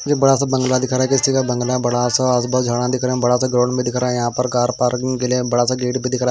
ये बड़ा सा बंगला दिख रहा है किसी का बंगला है बड़ा सा आसपास झाड़ा दिख रहे है बड़ा सा ग्राउंड भी दिख रहा है यहां पर कार पार्किंग के लिए बड़ा सा गेट भी दिख रहा--